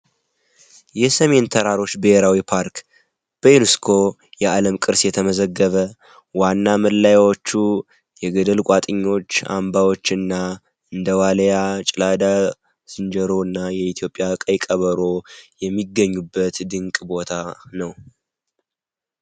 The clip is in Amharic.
የሰሜን ተራሮች ብሔራዊ ፓርክ በዩኔስኮ የዓለም ቅርስ የተመዘገበ ዋና መለያዎቹ የገደል ቋጥኞች፣ አንባቢዎችና እንደ ዋልያ፣ ጭላዳ ዝንጀሮ እና የኢትዮጵያ ቀይ ቀበሮ የሚገኙበት ድንቅ ቦታ ነው።